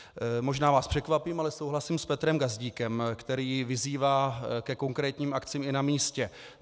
Možná vás překvapím, ale souhlasím s Petrem Gazdíkem, který vyzývá ke konkrétním akcím i na místě.